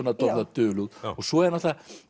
dulúð svo